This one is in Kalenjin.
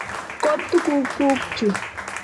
Ko tuguk kuk chu.